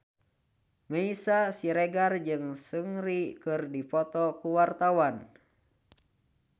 Meisya Siregar jeung Seungri keur dipoto ku wartawan